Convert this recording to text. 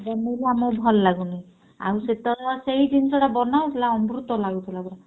ଆମକୁ ଭଲ ଲାଗୁନି ଆଉ ସେତେବେଳେ ସେଇ ଜିନିଷଟା ବନାହଉଥିଲା ଅମୃତ ଲାଗୁଥିଲା ପୁରା।